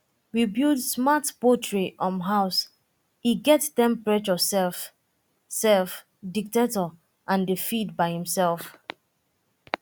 we build smart poultry um house e get temperature um um dectector and dey feed by himself